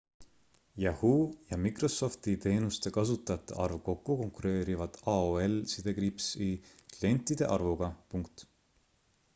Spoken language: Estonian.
yahoo ja microsofti teenuste kasutajate arv kokku konkureerivad aol-i klientide arvuga